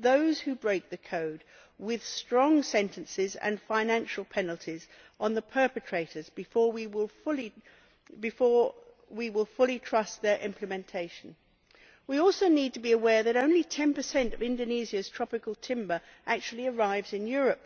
those who break the code receive strong sentences and that financial penalties are imposed on the perpetrators before we will fully trust their implementation. We also need to be aware that only 10 of Indonesia's tropical timber actually arrives in Europe.